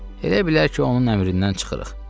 Elə bilər ki, onun əmrindən çıxırıq.